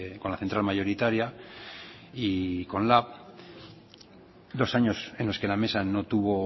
con la central mayoritaria y con lab dos años en los que la mesa no tuvo